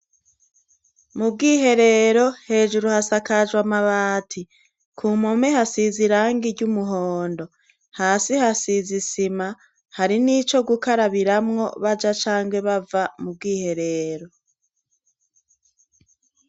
Mubwiherero hejuru hasakajwe amabati kumpome hasize irangi ry' umuhondo hasi hasize isima hari n' ico gukarabiramwo baja canke bava mubwiherero.